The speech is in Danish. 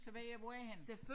Så hvad jeg hvor er jeg henne